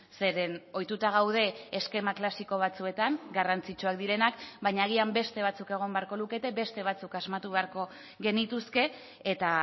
zeren ohituta gaude eskema klasiko batzuetan garrantzitsuak direnak baina agian beste batzuk egon beharko lukete beste batzuk asmatu beharko genituzke eta